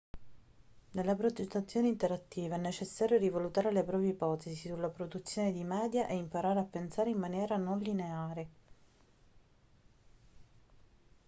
nella progettazione interattiva è necessario rivalutare le proprie ipotesi sulla produzione di media e imparare a pensare in maniera non lineare